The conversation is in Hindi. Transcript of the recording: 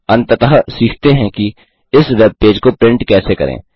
अंततः सीखते हैं कि इस वेब पेज को प्रिंट कैसे करें